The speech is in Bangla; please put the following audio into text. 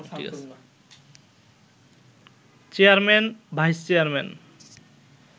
chairman, vice chairman